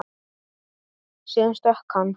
Síðan stökk hann.